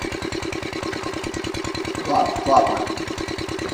ла плата